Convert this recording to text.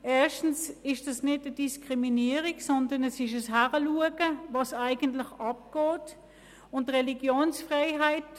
Erstens ist das keine Diskriminierung, sondern es ist ein Hinsehen, dahingehend, was eigentlich stattfindet.